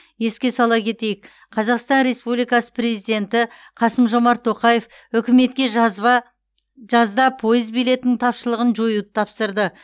еске сала кетейік қазақстан республикасы президенті қасым жомарт тоқаев үкіметке жазда пойыз билетінің тапшылығын жоюды тапсырды